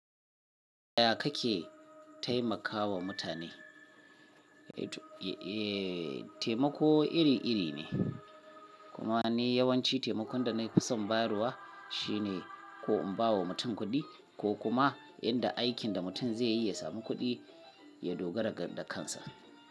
Ya kake taimakawa mutane? Eh taimako iri-iri ne, kuma ni yawanci taimakon da na fi son bayarwa shine ko in ba wa mutum kuɗi ko kuma yadda aikin da mutum zai yi ya samun kuɗi. Ya dogara kan da kansa.